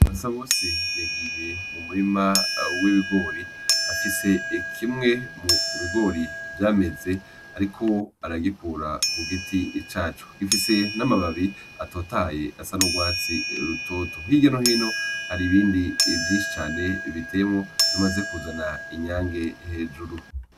Basabose yagiye mu murima w’ibigori , afise kimwe mu bigori vyameze ariko aragikura ku giti caco gifise n’amababi atotahaye asa n’urwatsi rutoto . Hirya no hino hari ibindi vyinshi cane biteyemwo bimaze kuzana inyange hejuru.